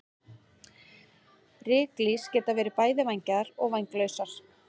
Ryklýs geta verið bæði vængjaðar og vænglausar.